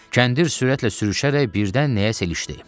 Kəndir sürətlə sürüşərək birdən nəyəsə ilişdi.